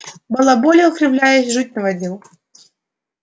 балаболил кривляясь жуть наводил